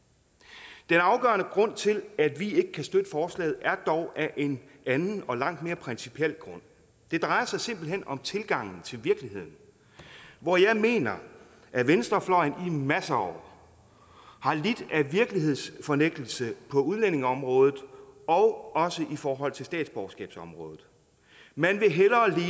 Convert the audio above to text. det er afgørende grund til at vi ikke kan støtte forslaget er dog en anden og langt mere principiel grund det drejer sig simpelt hen om tilgangen til virkeligheden hvor jeg mener at venstrefløjen i masser af år har lidt af virkelighedsfornægtelse på udlændingeområdet og også i forhold til statsborgerskabsområdet man vil hellere